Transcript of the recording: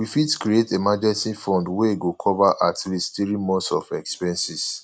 we fit create emergency fund wey go cover at least three months of expenses